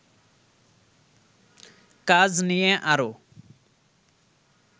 কাজ নিয়ে আরো